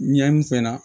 Ɲɛ n fɛ la